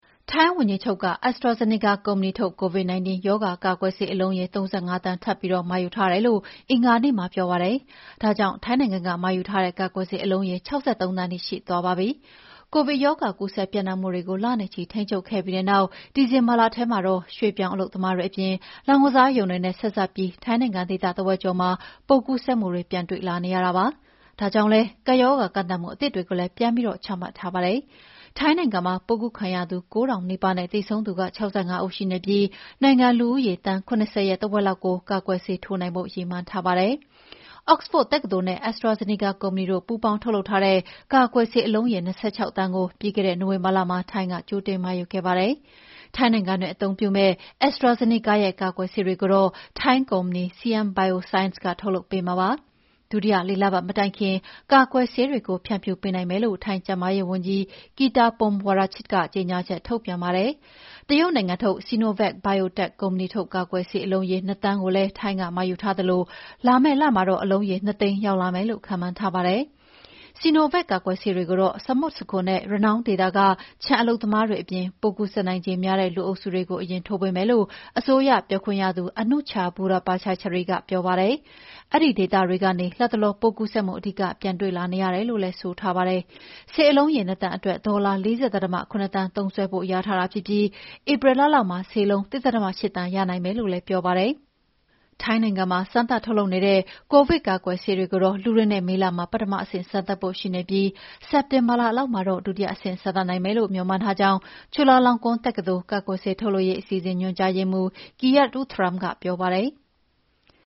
ထိုင်းဝန်ကြီးချုပ်က AstraZeneca ကုမ္ပဏီထုတ် COVID-19 ရောဂါကာကွယ်ဆေး အလုံးရေ ၃၅ သန်းထပ်ပြီး မှာယူထားတယ်လို့ အင်္ဂါနေ့မှာပြောပါတယ်။ ဒါကြောင့် ထိုင်းနိုင်ငံမှာယူထားတဲ့ ကာကွယ်ဆေးအလုံးရေ ၆၃ သန်းထိ ရှိသွားပါပြီ။ ကိုဗစ်ရောဂါကူးစက်ပြန့်နှံ့မှုတွေကိုလနဲ့ချီ ထိန်းချုပ်ခဲ့ပြီးတဲ့နောက် ဒီဇင်ဘာလထဲမှာတော့ ရွှေ့ပြောင်းအလုပ်သမားတွေအပြင် လောင်းကစားရုံတွေနဲ့ ဆက်စပ်ပြီး ထိုင်းနိုင်ငံဒေသတဝက်ကျော်မှာ ပိုးကူးစက်မှုပြန်တွေ့နေရပါတယ်။ ဒါကြောင့်လည်း ကပ်ရောဂါကန့်သတ်မှုအသစ်တွေလည်း ပြန်ပြီးချမှတ်ထားပါတယ်။ ထိုင်းနိုင်ငံမှာ ပိုးကူးခံရသူ ၉,၀၀၀ နီးပါးနဲ့ သေဆုံးသူ ၆၅ ဦးရှိပြီး နိုင်ငံလူဦးရေသန်း ၇၀ ရဲ့ တဝက်လောက်ကို ကာကွယ်ဆေးထိုးပေးဖို့ ရည်မှန်းထားပါတယ်။ Oxford တက္ကသိုလ်နဲ့ AstraZeneca ကုမ္ပဏီတို့ ပူးပေါင်းထုတ်လုပ်ထားတဲ့ ကာကွယ်ဆေးအလုံးရေး ၂၆ သန်းကို ပြီးခဲ့တဲ့နိုဝင်ဘာလမှာ ထိုင်းက ကြိုတင်မှာယူခဲ့ပါတယ်။ ထိုင်းနိုင်ငံတွင်း အသုံးပြုမယ့် AstraZeneca ရဲ့ ကာကွယ်ဆေးတွေကိုတော့ ထိုင်းကုမ္ပဏီ Siam Bioscience ကထုတ်လုပ်ပေးမှာပါ။ ဒုတိယလေးလပတ်မတိုင်ခင် ကာကွယ်ဆေးတွေကို ဖြန့်ဖြူးပေးနိုင်မယ်လို့ ထိုင်းကျန်းမာရေးဝန်ကြီး Kiattaphum Wongrachit ကကြေငြာချက်ထုတ်ပြန်ပါတယ်။ တရုတ်နိုင်ငံထုတ် Sinovac Biotech ကုမ္ပဏီထုတ် ကိုဗစ်ကာကွယ်ဆေးအလုံးရေ ၂,၀၀၀,၀၀၀ ကိုလည်း ထိုင်းက မှာယူထားသလို လာမယ့်လမှာ အလုံးရေ ၂၀၀,၀၀၀ ရောက်လာမယ်လို့ ခန့်မှန်းထားပါတယ်။ Sinovac ကာကွယ်ဆေးတွေကိုတော့ ဆမွတ်ဆခွန်နဲ့ ရနောင်းဒေသက ခြံအလုပ်သမားတွေအပြင် ပိုးကူးစက်နိုင်ခြေများတဲ့ လူအုပ်စုတွေကို အရင်ထိုးပေးမယ်လို့ အစိုးရပြောခွင့်ရသူ Anucha Burapachaisri ကပြောပါတယ်။ အဲဒီဒေသတွေကနေ လတ်တလော ပိုးကူးစက်မှု အဓိက ပြန်တွေ့လာနေရတယ်လို့လည်း ဆိုပါတယ်။ ဆေးလုံးရေ ၂,၀၀၀,၀၀၀ အတွက် ဒေါ်လာ ၄၀.၇ သန်းသုံးစွဲဖို့ လျာထားပြီး ဧပြီလလောက်မှာ ဆေးလုံး ၁.၈ သန်းရနိုင်မယ်လို့လည်းပြောပါတယ်။ ထိုင်းနိုင်ငံမှာ စမ်းသပ်ထုတ်လုပ်နေတဲ့ ကိုဗစ်ကာကွယ်ဆေးတွေကိုတော့ လူတွေနဲ့ မေလမှာ ပထမဆင့်စမ်းသပ်ဖို့ရှိပြီး စက်တင်ဘာလလောက်မှာတော့ ဒုတိယအဆင့်စမ်းသပ်နိုင်မယ်လို့ မေ ျှာ်မှန်းထားကြောင်း ချူလာလောင်ကွန်းတက္ကသိုလ်၊ ကာကွယ်ဆေးထုတ်လုပ်ရေးအစီအစဉ် ညွှန်ကြားရေးမှူး Kiat Ruxrungtham ကပြောပါတယ်။